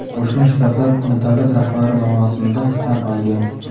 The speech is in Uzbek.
Qo‘shma Shtatlar uni davlat rahbari lavozimida tan olgan.